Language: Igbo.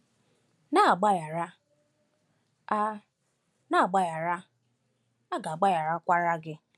“Na-agbaghara, a “Na-agbaghara, a ga-agbagharakwa gị.”